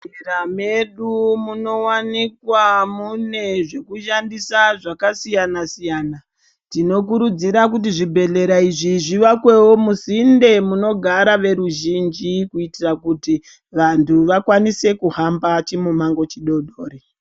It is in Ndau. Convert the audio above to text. Muzvibhedhlera medu munovanikwa mune zvekushandisa zvakasiyana-siyana. Tinokurudzira kuti zvibhedhlera izvi zvivakwevo musinde nemunogara veruzhinji. Kuitira kuti vantu vakwanise kuhamba chimumango chidodori.